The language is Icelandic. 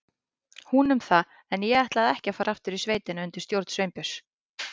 Hún um það, en ég ætlaði ekki að fara aftur í sveitina undir stjórn Sveinbjörns.